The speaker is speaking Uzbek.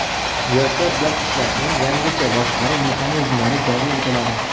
Yoshlar bilan ishlashning yangicha boshqaruv mexanizmlari joriy etiladi.